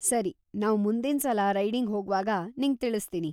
ಸರಿ, ನಾವ್‌ ಮುಂದಿನ್ಸಲ ರೈಡಿಂಗ್‌ ಹೋಗ್ವಾಗ ನಿಂಗ್‌ ತಿಳಿಸ್ತೀನಿ.